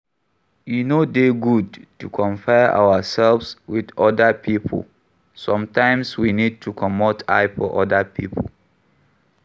E no dey good to compare ourselves with oda pipo sometimes we need to comot eye for oda pipo